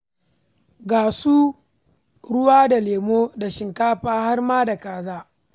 Ga su ruwa da lemo da shinkafa har ma da kaza.